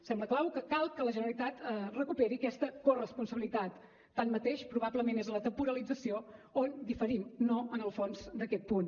sembla clau que cal que la generalitat recuperi aquesta corresponsabilitat tanmateix probablement és en la temporalització on diferim no en el fons d’aquest punt